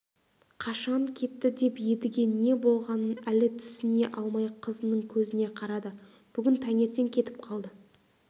қашан кетті деп едіге не болғанын әлі түсіне алмай қызының көзіне қарады бүгін таңертең кетіп қалды